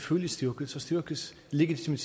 lidt med